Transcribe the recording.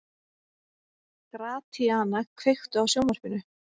Gratíana, kveiktu á sjónvarpinu.